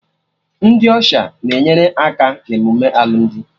Ndị Ọsha na-enyere aka na emume alụmdi